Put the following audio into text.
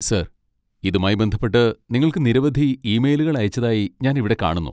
Sir, ഇതുമായി ബന്ധപ്പെട്ട് നിങ്ങൾക്ക് നിരവധി ഇമെയിലുകൾ അയച്ചതായി ഞാൻ ഇവിടെ കാണുന്നു.